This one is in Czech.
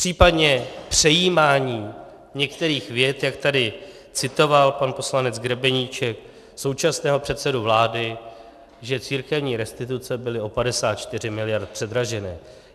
Případně přejímání některých vět, jak tady citoval pan poslanec Grebeníček současného předsedu vlády, že církevní restituce byly o 54 miliard předraženy.